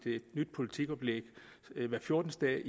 nyt politikoplæg hver fjortende